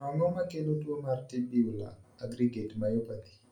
Ang'o makelo tuo mar tubular aggregate myopathy?